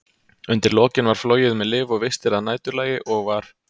Undir lokin var flogið með lyf og vistir að næturlagi, og var